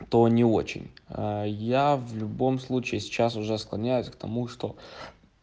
то не очень я в любом случае сейчас уже склоняюсь к тому что